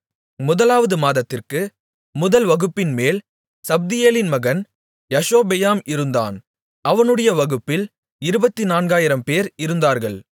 முதலாவது மாதத்திற்கு முதல் வகுப்பின்மேல் சப்தியேலின் மகன் யஷொபெயாம் இருந்தான் அவனுடைய வகுப்பில் இருபத்துநான்காயிரம்பேர் இருந்தார்கள்